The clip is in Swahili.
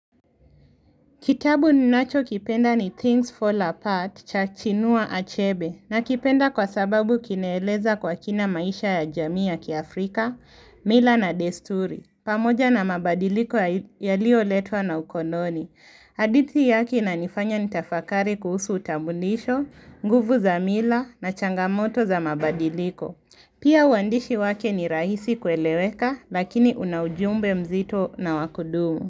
Kitabu ninachokipenda ni Things Fall Apart cha chinua achebe nakipenda kwa sababu kinaeleza kwa kina maisha ya jamii ya kiaafrika, mila na desturi. Pamoja na mabadiliko yalioletwa na ukoloni. Hadithi yake inanifanya nitafakari kuhusu utambulisho, nguvu za mila na changamoto za mabadiliko. Pia uandishi wake ni rahisi kueleweka lakini una ujumbe mzito na wakudumu.